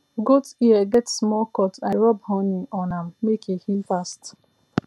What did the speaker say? goat ear get small cut i rub honey on am make e heal fast